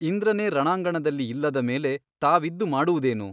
ಇಂದ್ರನೇ ರಣಾಂಗಣದಲ್ಲಿ ಇಲ್ಲದ ಮೇಲೆ ತಾವಿದ್ದು ಮಾಡುವುದೇನು ?